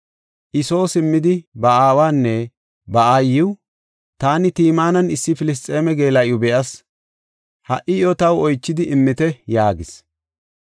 I Soo simmidi ba aawanne ba aayiw, “Taani Timinan issi Filisxeeme geela7iw be7as; ha77i iyo taw oychidi immite” yaagis.